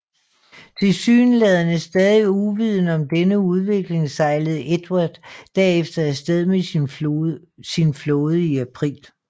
Tilsyneladende stadig uvidende om denne udvikling sejlede Edward derefter afsted med sin flåde i april